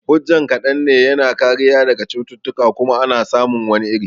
Hujjan kaɗan ne, yana kariya daga cututtuka kuma ana samun wani iri